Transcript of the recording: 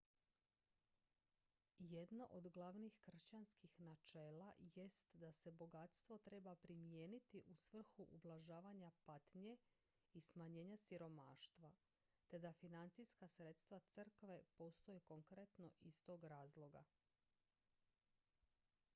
jedno od glavnih kršćanskih načela jest da se bogatstvo treba primijeniti u svrhu ublažavanja patnje i smanjenja siromaštva te da financijska sredstva crkve postoje konkretno iz tog razloga